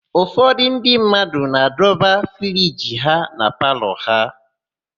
Ụfọdụ ndị mmadụ na-adọba friji na palọ ha.